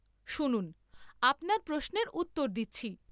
শুনুন, আপনার প্রশ্নের উত্তর দিচ্ছি।